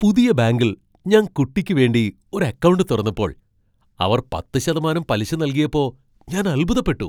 പുതിയ ബാങ്കിൽ ഞാൻ കുട്ടിക്ക് വേണ്ടി ഒരു അക്കൗണ്ട് തുറന്നപ്പോൾ അവർ പത്ത് ശതമാനം പലിശ നൽകിയപ്പോ ഞാൻ അത്ഭുതപ്പെട്ടു.